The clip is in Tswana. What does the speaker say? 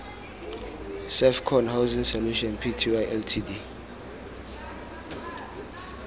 servcon housing solutions pty ltd